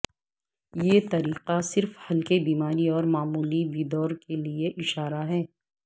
یہ طریقہ صرف ہلکے بیماری اور معمولی بیدور کے لئے اشارہ ہے